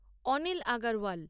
Anil Agarwal